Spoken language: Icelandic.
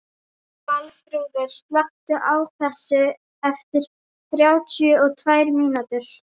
Valþrúður, slökktu á þessu eftir þrjátíu og tvær mínútur.